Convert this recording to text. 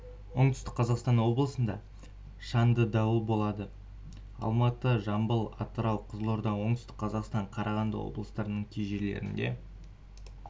оңтүстік қазақстан облысында шанды дауыл болады алматы жамбыл атырау қызылорда оңтүстік қазақстан қарағанды облыстарының кей жерлерінде